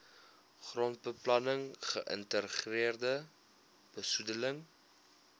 grondbeplanning geïntegreerde besoedeling